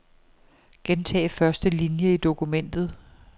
Gentag første linie i dokumentet.